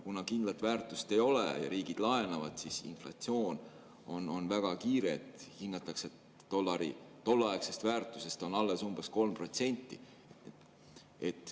Kuna kindlat väärtust ei ole ja riigid laenavad, siis inflatsioon on väga kiire: hinnatakse, et dollari tolleaegsest väärtusest on alles umbes 3%.